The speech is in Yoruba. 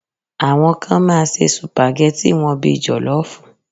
Àwọn kan máa se sùpàgẹ́tì wọn bíi jọ̀lọ́ọ́fù